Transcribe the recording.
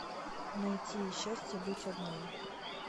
найти счастье быть одной